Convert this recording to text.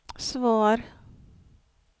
svar